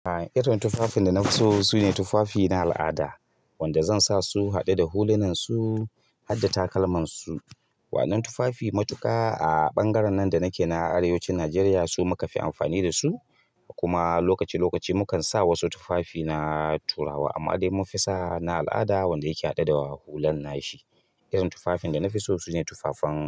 Ah, irin tufafin da na fi so sune tufafi na al'ada wanda zan sa su haɗe da hulunan su, hadda takalman su. Waɗannan tufafi matuƙa a ɓangaren nan da nake na arewacin Najeriya su muka fi amfani da su. Kuma lokaci lokaci mukan sa wasu tufafi na turawa amma dai mun fi sa na al'ada wanda yake haɗe da hulan nashi. Irin tufafin da na fi so sune tufafen.